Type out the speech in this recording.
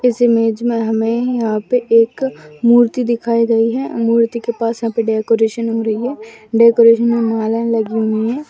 इस इमेज मे हमे यहाँ पे एक मूर्ति दिखाई गई है मूर्ति के पास यहां पे डेकोरेशन हो रही है डेकोरेशन मे मालाए लगी हुई है।